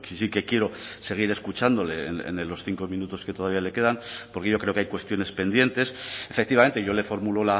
sí que quiero seguir escuchándole en los cinco minutos que todavía le quedan porque yo creo que hay cuestiones pendientes efectivamente yo le formulo